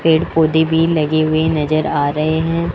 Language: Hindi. पेड़-पौधे भी लगे हुए नजर आ रहे हैं।